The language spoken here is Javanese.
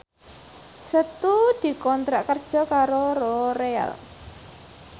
Setu dikontrak kerja karo Loreal